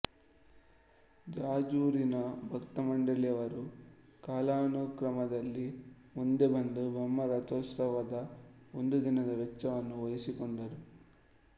ಜಾಜೂರಿನ ಭಕ್ತಮಂಡಳಿಯವರು ಕಾಲಾನುಕ್ರಮದಲ್ಲಿ ಮುಂದೆಬಂದು ಬ್ರಹ್ಮರಥೋತ್ಸವದ ಒಂದು ದಿನದ ವೆಚ್ಚವನ್ನು ವಹಿಸಿಕೊಂಡರು